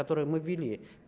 которые мы ввели